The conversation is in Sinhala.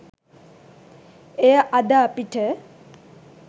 එය අද අපිට